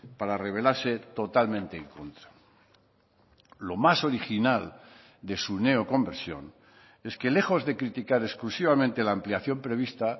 para revelarse totalmente en contra lo más original de su neoconversión es que lejos de criticar exclusivamente la ampliación prevista